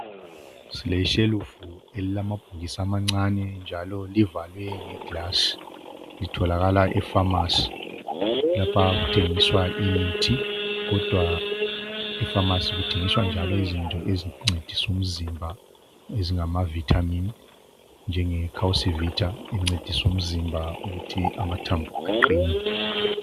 Leyi yishelufu elamaphilsi amancane ivalwe nge glass itholakala efamasi lapho okuthengiswa khona imithi kodwa efamasi kuthengiswa izinto ezincedisa umzimba eznjengama vitamin, njenge Calci vitamin incedisa umzimba ukuthi amathambo aqine.